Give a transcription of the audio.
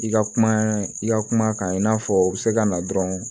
I ka kuma i ka kuma kan i n'a fɔ bɛ se ka na dɔrɔn